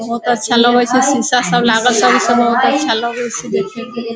बोहोत अच्छा लगे से शीशा सब लागल सब इ सब बहुत अच्छा लगे से देखेमें।